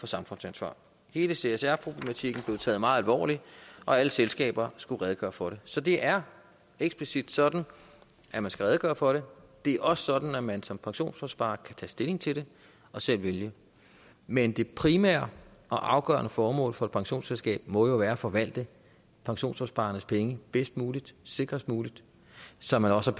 samfundsansvar hele csr problematikken blev taget meget alvorligt og alle selskaber skulle redegøre for den så det er eksplicit sådan at man skal redegøre for det det er også sådan at man som pensionsopsparer kan tage stilling til det og selv vælge men det primære og afgørende formål for et pensionsselskab må jo være at forvalte pensionsopsparernes penge bedst muligt sikrest muligt så man også